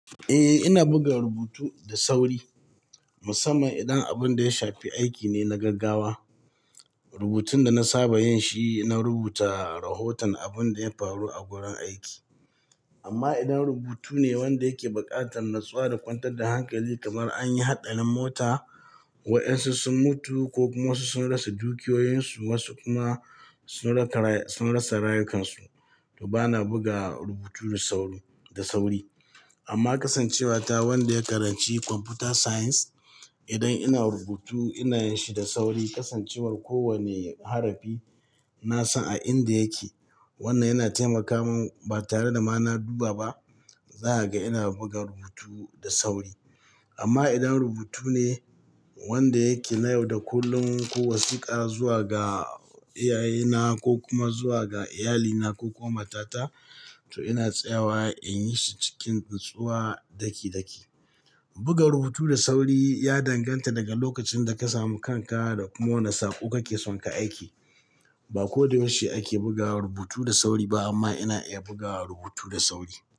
Eh, ina buga rubutu da sauri musamman idan abun da ya shafi aiki ne na gaggawa. Rubutun da na saba yin shi, na rubuta rahoton abin da ya faru a wurin aiki. Amma idan rubutu ne wanda yake buƙatar natsuwa da kwantar da hankali kamar an yi haɗarin mota, waɗansu sun mutu ko kuma wasu sun rasa dukiyoyinsu, wasu kuma sun rasa rayukansu, to bana buga rubutu da sauri. Amma kasancewa ta wanda ya karanci Computer Science, idan ina rubutu ina yin shi da sauri. Kasancewar kowane harafi na san a inda yake, wannan yana taimaka min ba tare da ma na duba ba, zakaga ina buga rubutu da sauri. Amma idan rubutu ne wanda yake na yau da kullum ko wasiƙa zuwa ga iyayena ko kuma zuwa ga iyalina ko kuma mata ta, to ina tsayawa in yi shi cikin natsuwa daki-daki. Buga rubutu da sauri ya danganta daga lokacin da ka samu kanka da kuma wane sako ka ke son ka aiki. Ba ko da yaushe ake buga rubutu da sauri ba amma ina iya buga rubutu da sauri.